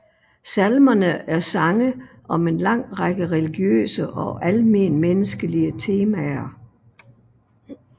Salmerne er sange om en lang række religiøse og almenmenneskelige temaer